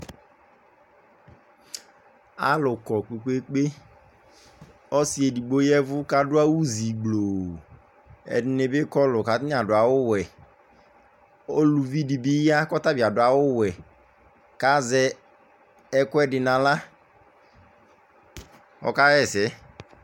alu kɔ kpekpekpe ɔsɩ edigbo yɛvʊ kadʊ awʊzi gbʊ ɛdinɩ bɩ kɔlʊ katani adʊ awʊ wɛ uluvi dɩbi ya kɔtaɓɩ'adʊ'awʊ wɛ